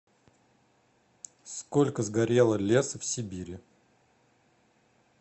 сколько сгорело леса в сибири